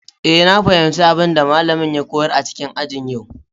Eh, na fahimci abin da malamin ya koyar a cikin aji a yau.